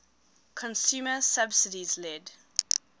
consumer subsidies led